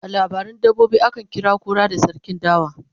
a labaran dabbobi akan kira kura da sarkin dawa